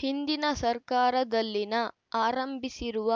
ಹಿಂದಿನ ಸರ್ಕಾರದಲ್ಲಿನ ಆರಂಭಿಸಿರುವ